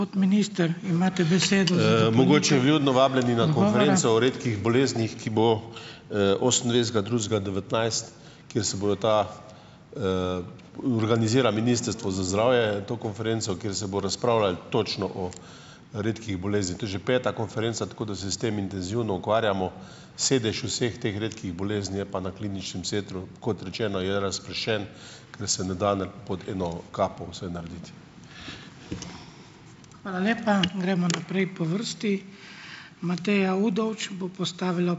Mogoče vljudno vabljeni na konferenco o redkih boleznih, ki bo, osemindvajsetega drugega devetnajst, kjer se bojo ta ... Organizira ministrstvo za zdravje to konferenco, kjer se bo razpravljalo točno o redkih boleznih. To je že peta konferenca, tako da se s tem intenzivno ukvarjamo. Sedež vseh teh redkih bolezni je pa na kliničnem centru, kot rečeno, je razpršen, ker se ne da ne pod eno kapo vse narediti.